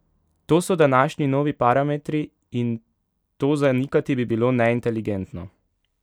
To so današnji novi parametri, in to zanikati bi bilo neinteligentno.